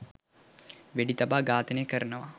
වෙඩි තබා ඝාතනය කරනවා.